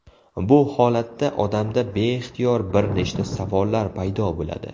Bu holatda odamda beixtiyor bir nechta savollar paydo bo‘ladi.